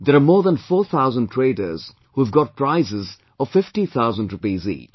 There are more than four thousand traders who have got prizes of fifty thousand rupees each